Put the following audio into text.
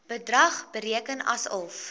bedrag bereken asof